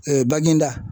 bangenida